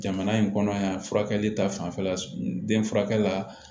Jamana in kɔnɔ yan furakɛli ta fanfɛla la den furakɛ la